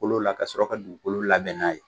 Kolo la ka sɔrɔ ka dugukolo labɛn n'a ye.